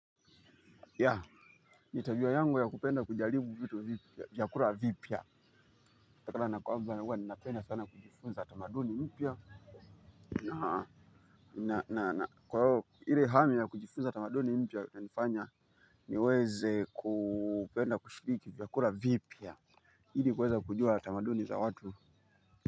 Ya, ni tabia yangu ya kupenda kujaribu vitu vyakula vipya. Kwa hivyo ninapenda sana kujifunza tamaduni mpya. Na, na, na, na, kwa hivyo ile hali ya kujifunza tamaduni mpya kunifanya niweze kupenda kushiriki vyakula vipya ili niweze kujua tamaduni za watu.